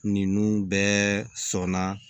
Ninnu bɛɛ sɔnna